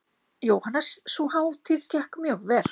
Jóhannes: Sú hátíð gekk mjög vel?